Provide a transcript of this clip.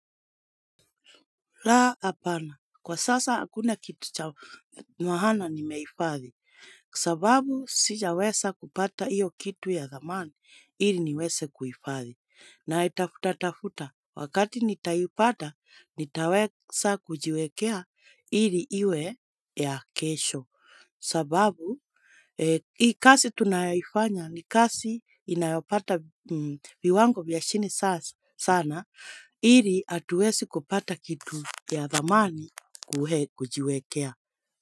Laa hapana. Kwa sasa hakuna kitu cha maana nimeifadhi. Sababu sijaweza kupata hiyo kitu ya dhamani, ili niweze kuifadhi. Naitafutatafuta wakati nitaupata, nitaweza kujiwekea ili iwe ya kesho. Sababu, hii kazi tunayoifanya ni kazi inayopata viwango vya chini sana, ili hatuwezi kupata kitu. Ya dhamani kuhe kujiwekea.